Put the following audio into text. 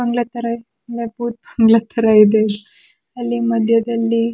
ಬಂಗ್ಲಾ ತರ ಇದೆ ಒಳ್ಳೆ ಬೂತ್ ಬಂಗ್ಲಾ ತರ ಇದೆ ಅಲ್ಲಿ ಮದ್ಯದಲ್ಲಿ--